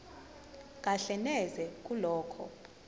kahle neze kulokho